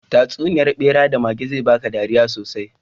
Tatsuniyar ɓera da mage zai baka dariya sosai.